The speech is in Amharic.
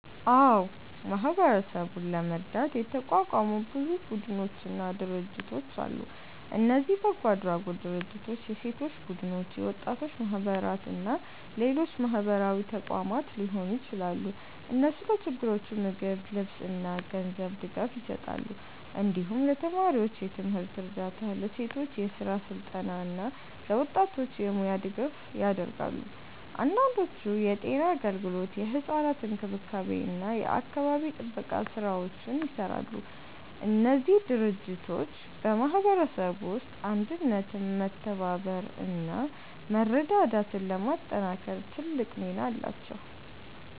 አዎ፣ ማህበረሰቡን ለመርዳት የተቋቋሙ ብዙ ቡድኖችና ድርጅቶች አሉ። እነዚህ በጎ አድራጎት ድርጅቶች፣ የሴቶች ቡድኖች፣ የወጣቶች ማህበራት እና ሌሎች ማህበራዊ ተቋማት ሊሆኑ ይችላሉ። እነሱ ለችግረኞች ምግብ፣ ልብስ እና ገንዘብ ድጋፍ ይሰጣሉ። እንዲሁም ለተማሪዎች የትምህርት እርዳታ፣ ለሴቶች የስራ ስልጠና እና ለወጣቶች የሙያ ድጋፍ ያደርጋሉ። አንዳንዶቹ የጤና አገልግሎት፣ የሕፃናት እንክብካቤ እና የአካባቢ ጥበቃ ስራዎችንም ይሰራሉ። እነዚህ ድርጅቶች በማህበረሰቡ ውስጥ አንድነትን፣ መተባበርን እና መረዳዳትን ለማጠናከር ትልቅ ሚና አላቸው።